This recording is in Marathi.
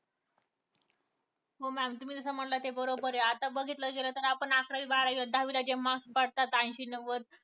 हो ma'am तुम्ही जसं म्हणलात ते बरोबर आहे. आता बघितलं गेलं तर आपण अकरावी बारावीला दहावीला जे marks पडतात ऐशी, नव्वद